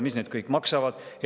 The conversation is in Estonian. Mis need kõik maksavad?